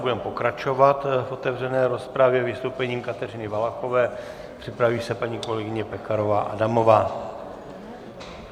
Budeme pokračovat v otevřené rozpravě vystoupením Kateřiny Valachové, připraví se paní kolegyně Pekarová Adamová.